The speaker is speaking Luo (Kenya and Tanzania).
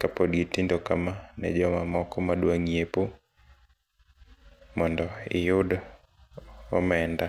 kapod gitindo kama ne jomamoko madwa nyiepo mondo iyud omenda .